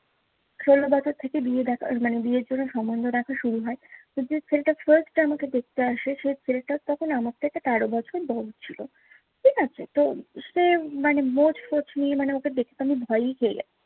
ষোল বছর থেকে বিয়ে দেখার মানে বিয়ের জন্য সমন্ধ দেখা শুরু হয়। তো যে ছেলেটা first আমাকে দেখতে আসে, সে ছেলেটা তখন আমার থেকে তেরো বছর বড় ছিলো। ঠিক আছে তো সে মানে মোচ-ফোচ নিয়ে মানে ওকে দেখতে আমি পেয়েই পেয়ে গেলাম।